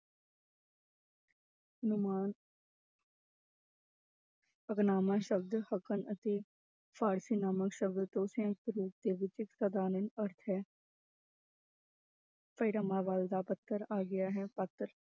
ਸ਼ਬਦ ਫ਼ਾਰਸੀ ਨਾਮਾ ਸ਼ਬਦ ਤੋਂ ਅਰਥ ਹੈ ਦਾ ਪੱਤਰ ਆ ਗਿਆ ਹੈ ਪਾਤਰ